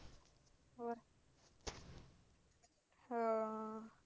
ਹਾਂ